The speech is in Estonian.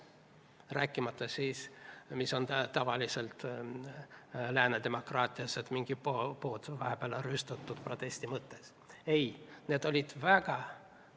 Rääkimata sellest, mis on tavaline lääne demokraatias, et mingi pood vahepeal protesti mõttes rüüstatakse.